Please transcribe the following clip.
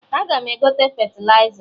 Aga m egote fetịliza